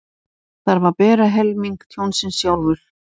Þarf að bera helming tjónsins sjálfur